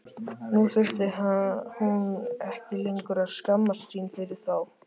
Nú þurfti hún ekki lengur að skammast sín fyrir þá.